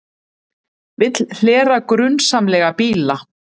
Vill hlera grunsamlega bíla